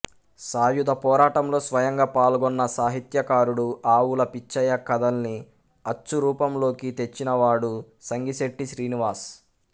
సాయుధ పోరాటంలో స్వయంగా పాల్గొన్న సాహిత్యకారుడు ఆవుల పిచ్చయ్య కథల్ని అచ్చు రూపంలోకి తెచ్చినవాడు సంగిశెట్టి శ్రీనివాస్